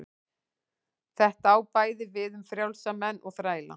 Þetta á bæði við um frjálsa menn og þræla.